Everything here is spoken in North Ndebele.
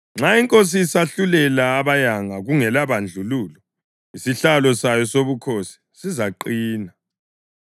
Nxa inkosi isahlulela abayanga kungelabandlululo, isihlalo sayo sobukhosi sizaqina.